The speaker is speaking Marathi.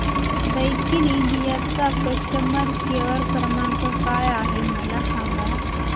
दैकिन इंडिया चा कस्टमर केअर क्रमांक काय आहे मला सांगा